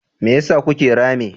Me yasa kuke rame?